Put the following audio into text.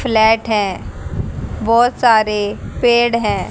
Flat है बोहोत सारे पेड़ है।